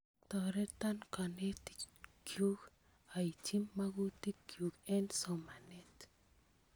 Toreton kanetik chuk aitchi magutik chuk eng' somanet